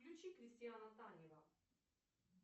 включи кристиана танева